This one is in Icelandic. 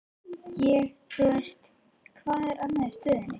Ég, þú veist, hvað er annað í stöðunni?